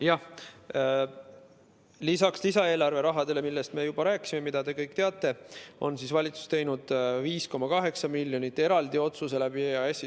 Jah, lisaks lisaeelarve rahale, millest me juba rääkisime ja mida te kõik teate, on valitsus teinud eraldi otsuse 5,8 miljoni eraldamiseks EAS‑i kaudu.